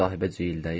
Sahibə ciyildəyir.